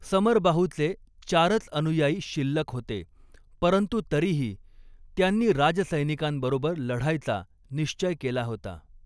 समरबाहूचे चारच अनुयायी शिल्लक होते, परंतु तरीही त्यांनी राजसैनिकांबरोबर लढायचा निश्चय केला होता.